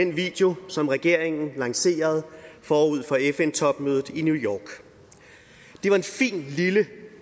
den video som regeringen lancerede forud for fn topmødet i new york det var en fin lille